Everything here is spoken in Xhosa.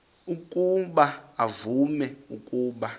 ukuba uvume ukuba